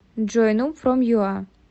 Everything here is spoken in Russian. джой нуб фром ю а